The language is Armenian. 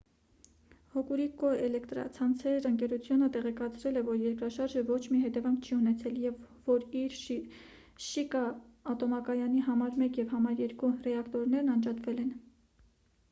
հոկուրիկու էլէկտրացանցեր ընկերությունը տեղեկացրել է որ երկրաշարժը ոչ մի հետևանք չի ունեցել և որ իր շիկա ատոմակայանի n1 և n2 ռեակտորներն անջատվել են